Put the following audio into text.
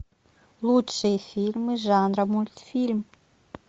лучшие фильмы жанра мультфильм